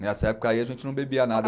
Nessa época aí a gente não bebia nada.